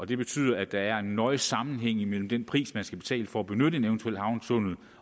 det betyder at der er en nøje sammenhæng imellem den pris man skal betale for at benytte en eventuel havnetunnel